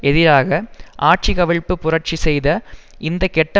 எதிராக ஆட்சி கவிழ்ப்பு புரட்சி செய்த இந்த கெட்ட